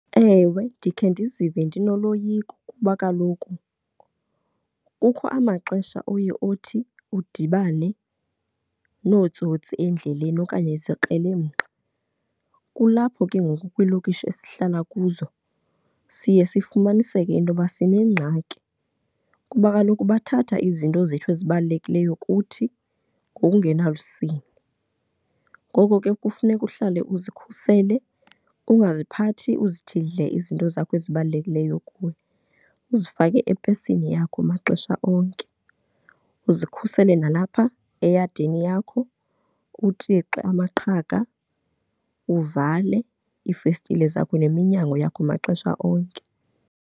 Ewe, ndikhe ndizive ndinoloyiko kuba kaloku kukho amaxesha oye othi udibane nootsotsi endleleni okanye izikrelemnqa. Kulapho ke ngoku kwiilokishi esihlala kuzo siye sifumanise into yoba sinengxaki kuba kaloku bathatha izinto zethu ezibalulekileyo kuthi ngokungenalusini. Ngoko ke kufuneka uhlale uzikhusele, ungaziphithi uzithi dle izinto zakho ezibalulekileyo kuwe, uzifake epesini yakho maxesha onke. Uzikhusele nalapha eyadini yakho, utixe amaqhaga, uvale iifestile zakho neminyango yakho maxesha onke.